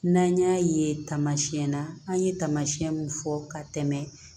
N'an y'a ye taamasiyɛn na an ye taamasiyɛn min fɔ ka tɛmɛ